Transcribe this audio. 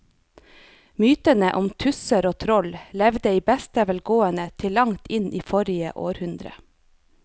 Mytene om tusser og troll levde i beste velgående til langt inn i forrige århundre.